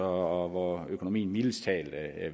hvor økonomien mildest talt